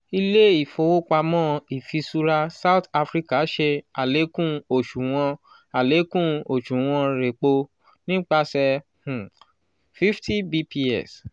ile-ifowopamọ ifiṣura south africa ṣe alekun oṣuwọn alekun oṣuwọn repo nipasẹ um 50 bps